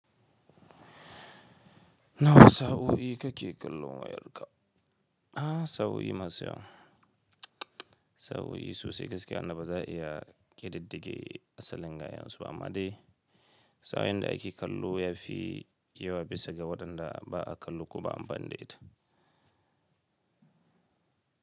Nawa sau'o'i kake kallo wayarka? A'a sau'o'i masu yawa. Sau'o'i sosai gaskiya, amma ba za a iya ƙididdige asalin gayensu ba. Amma dai sauyanda ake kallo yafi yawa bisa ga waɗanda ba a kallo ba, amma dai ita.